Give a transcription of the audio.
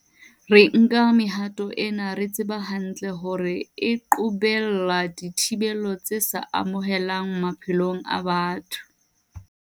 Re nka mehato ena re tseba hantle hore e qobella dithibelo tse sa amohelehang maphelong a batho.